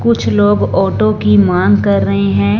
कुछ लोग ऑटो की मांग कर रहे हैं।